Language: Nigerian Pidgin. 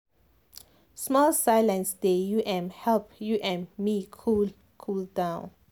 small silence dey u m help u m me cool cool down.